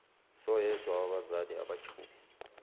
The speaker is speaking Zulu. soyedwa wabazali abajube